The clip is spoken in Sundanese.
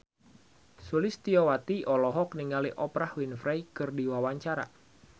Sulistyowati olohok ningali Oprah Winfrey keur diwawancara